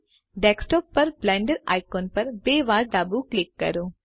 desktop પર Blender icon પર બે વાર ડાબું ક્લિક કરો